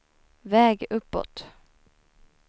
väg uppåt